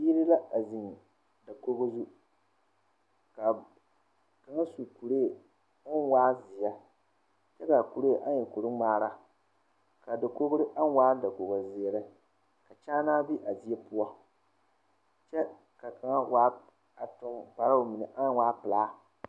Biiri la a zeŋ dakoo zu kaa kaŋa su kuree o waa zeɛ kyɛ kaa kuree aŋ e kuri ŋmaara a dakogri aŋ waa dakoo zeere ka kyaa naa be a die poɔ kyɛ ka kaŋ tuŋ kparoo aŋ waa pelaa